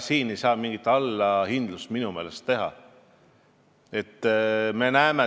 Siin ei saa minu meelest mingit allahindlust teha.